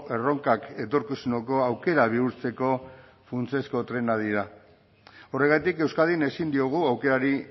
erronkak etorkizuneko aukera bihurtzeko funtsezko trenak dira horregatik euskadin ezin diogu aukerari